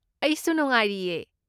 ꯑꯩꯁꯨ ꯅꯨꯡꯉꯥꯏꯔꯤꯌꯦ꯫